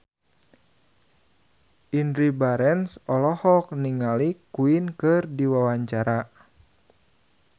Indy Barens olohok ningali Queen keur diwawancara